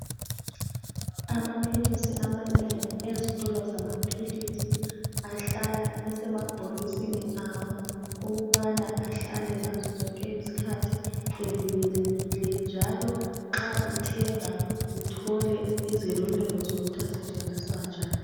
Amaphilisi amanengi ezitolo zamaphilisi ahlala esemabhokisini awo ukubana ahlale ngazozonke izikhathi evikelekile njalo nxa uthenga uthole izeluleko zokuthi asetshenziswa njani.